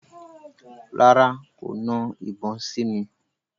Rárá, kò na ìbọn sí mi.